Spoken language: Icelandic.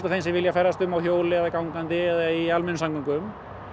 þeim sem vilja ferðast um á hjóli eða fótgangangandi eða í almenningssamgöngum